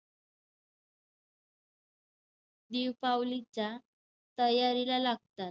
दिवपावलीच्या तयारीला लागतात.